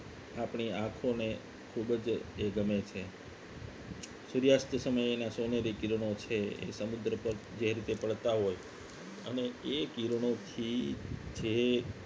આપણી આંખોને ખૂબ જ એ ગમે છે સૂર્યાસ્ત સમયે એના સોનેરી કિરણો છે એ સમુદ્ર પર જે રીતે પડતા હોય અને એ કિરણોથી જે